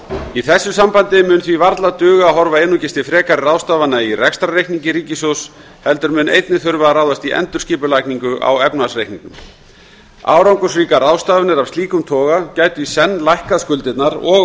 í þessu sambandi mun því varla duga að horfa einungis til frekari ráðstafana í rekstrarreikningi ríkissjóðs heldur mun einnig þurfa að ráðast í endurskipulagningu á efnahagsreikningnum árangursríkar ráðstafanir af slíkum toga gætu í senn lækkað skuldirnar og